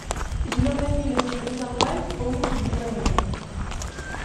зеленая миля смотреть онлайн с полным дублированием